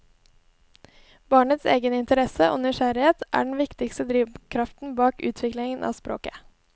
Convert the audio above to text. Barnets egen interesse og nysgjerrighet er den viktigste drivkraften bak utviklingen av språket.